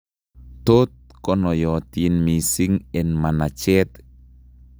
Tot konoiyotin mising' eng' manacheet